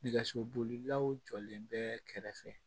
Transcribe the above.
Nɛgɛso bolilaw jɔlen bɛ kɛrɛfɛ